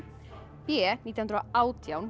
b nítján hundruð og átján þegar